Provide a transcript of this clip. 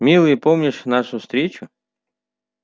милый помнишь нашу встречу